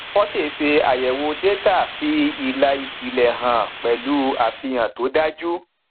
fortay ṣe àyẹwò détà fi ìlà ìpìlè hàn pẹlú àfihàn tó dájú